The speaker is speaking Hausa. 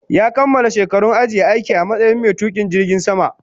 Ya kamala shekarun ajiye aiki a matsayin mai tukin jirgin sama